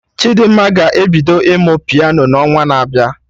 Chidimma ga-ebido ịmụ Piano na onwa na abịa